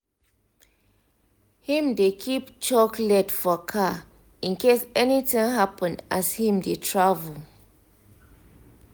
him dey keep chocolate for car in case anything happen as him dey travel.